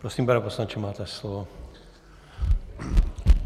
Prosím, pane poslanče, máte slovo.